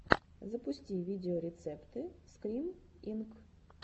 запусти видеорецепты скрим инк